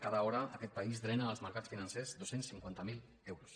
cada hora aquest país drena als mercats financers dos cents i cinquanta miler euros